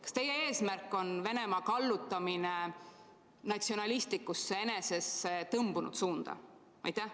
Kas teie eesmärk on kallutada Venemaad natsionalistlikusse enesessetõmbumise suunda?